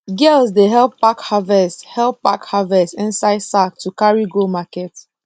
girls dey help pack harvest help pack harvest inside sack to carry go market